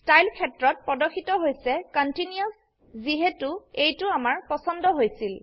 style ক্ষেত্ৰত প্ৰদৰ্শিত হৈছে কণ্টিনিউচ যিহেতো এইটো আমাৰ পছন্দ হৈছিল